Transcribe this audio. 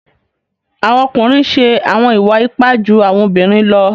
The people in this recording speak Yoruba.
Awọn ọkunrin ǹ ṣe awọn iwa-ipa ju awọn obirin lọ.